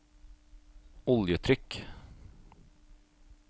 oljetrykk